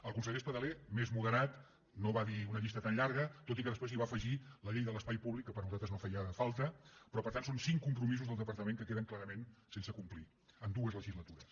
el conseller espadaler més moderat no va dir una llista tan llarga tot i que després hi va afegir la llei de l’espai públic que per nosaltres no feia falta però per tant són cinc compromisos del departament que queden clarament sense complir en dues legislatures